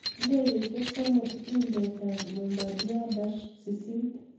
Ndegeeisiek somok iinteet ap ' Bombardier Dash 8